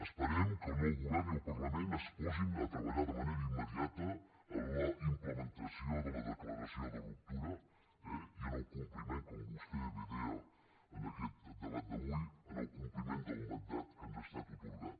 esperem que el nou govern i el parlament es posin a treballar de manera immediata en la implementació de la declaració de ruptura eh i en el compliment com vostè bé deia en aquest debat d’avui en el compliment del mandat que ens ha estat atorgat